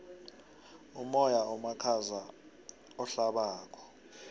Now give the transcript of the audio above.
umoya omakhaza ohlabako